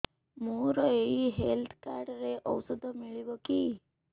ମୋର ଏଇ health card ରେ ଔଷଧ ମିଳିବ କି